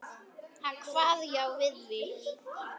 Hann kvað já við því.